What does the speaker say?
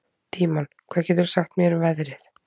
Tímon, hvað geturðu sagt mér um veðrið?